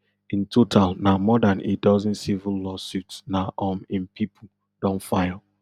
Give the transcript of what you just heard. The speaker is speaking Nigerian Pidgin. in total na more dan a dozen civil lawsuits na um im pipo don file